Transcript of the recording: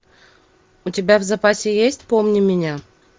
у тебя в запасе есть помни меня